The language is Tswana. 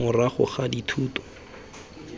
morago ga dithuto dithuto tse